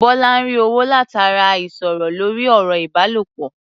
Bọ́lá ń rí owó látara ìsọ̀rọ̀ lórí ọ̀rọ̀-ìbálòpọ̀.